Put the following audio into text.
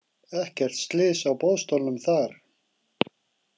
Ekkert slys á boðstólum þar.